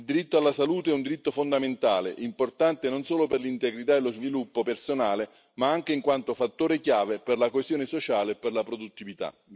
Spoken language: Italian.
Il diritto alla salute è un diritto fondamentale, importante non solo per l'integrità e lo sviluppo personale, ma anche in quanto fattore chiave per la coesione sociale e per la produttività.